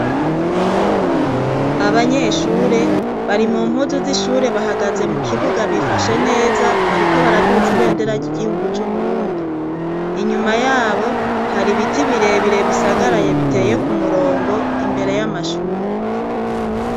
Abanyeshure bari mumpuzu zishure bahagaze mukibuga bifashe neza bariko baraduza ibendera ryigihugu cuburundi inyuma yabo hari ibiti birebire bisagaraye biteye kumurongo imbere yamashure